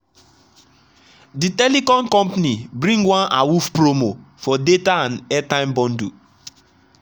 the telecom company bring one awoof promo for data and airtime bundle.